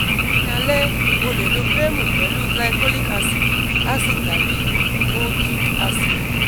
ni alẹ o le lo kremu pẹlu cs] glycolic acid acid tabi kojic acid